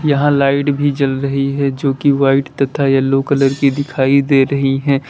यहां लाइट भी चल रही है जो कि व्हाइट तथा येलो कलर की दिखाई दे रही है।